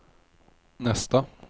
nästa